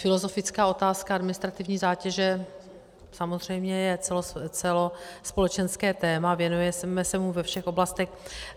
Filozofická otázka administrativní zátěže samozřejmě je celospolečenské téma, věnujeme se mu ve všech oblastech.